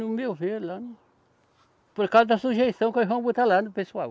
No meu ver lá não. Por causa da sujeição que eles vão botar lá no pessoal.